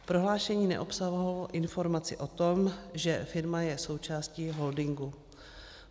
Prohlášení neobsahovalo informaci o tom, že firma je součástí holdingu.